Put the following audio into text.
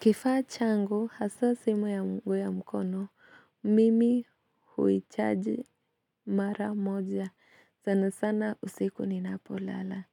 Kifaa changu, hasaa simu yangu ya mkono, mimi huichaji mara moja, sana sana usiku ninapo lala.